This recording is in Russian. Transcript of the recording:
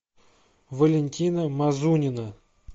валентина мазунина